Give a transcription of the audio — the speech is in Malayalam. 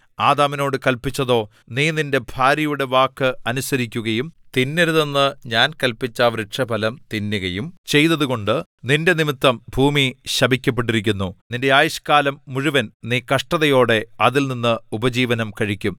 ആദാമിനോട് കല്പിച്ചതോ നീ നിന്റെ ഭാര്യയുടെ വാക്ക് അനുസരിക്കുകയും തിന്നരുതെന്ന് ഞാൻ കല്പിച്ച വൃക്ഷഫലം തിന്നുകയും ചെയ്തതുകൊണ്ട് നിന്റെനിമിത്തം ഭൂമി ശപിക്കപ്പെട്ടിരിക്കുന്നു നിന്റെ ആയുഷ്ക്കാലം മുഴുവൻ നീ കഷ്ടതയോടെ അതിൽനിന്ന് ഉപജീവനം കഴിക്കും